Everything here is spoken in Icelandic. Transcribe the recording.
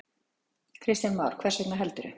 Kristján Már: Hvers vegna, heldurðu?